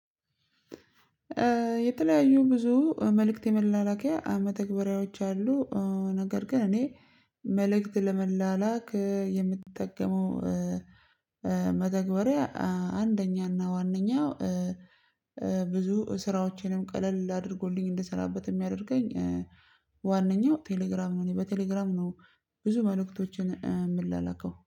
የተለያዩ ብዙ መልእክት የመላላኪያ መተግበርያዎች አሉ። ነገር ግን እኔ መልእክት ለመላላክ የምትጠቀመው። መተግበሪያ አንደኛና ዋነኛው ብዙ ስራዎቼንም ቀለል አድርጎልኝ እንደሰራበት የሚያደርገኝ ዋነኛው ቴሌግራም ነው። እኔ በቴሌግራም ነው ብዙ መልእክቶችን የምላላከው